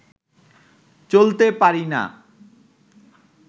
চলতে পারিনা